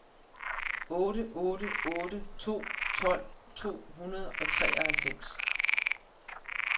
otte otte otte to tolv to hundrede og treoghalvfems